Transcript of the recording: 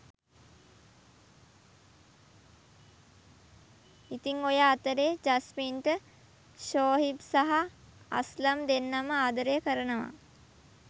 ඉතිං ඔය අතරේ ජස්මින්ට ෂෝහිබ් සහ අස්ලම් දෙන්නම ආදරය කරනවා